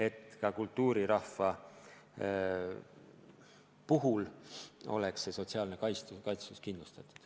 Aga ka kultuurirahva puhul peab sotsiaalne kaitstus olema kindlustatud.